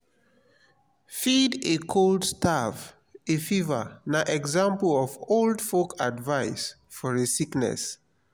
feed a cold starve a fever na example of old folk advice for a sickness